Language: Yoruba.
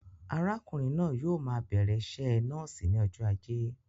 Arákùnrin náà yóò maa bẹ̀rẹ̀ iṣẹ nọ́ọ̀sì ní ọjọ ajé